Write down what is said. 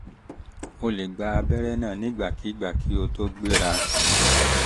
o lè gba abẹ́rẹ́ náà nígbàkigbà kí o tó gbéra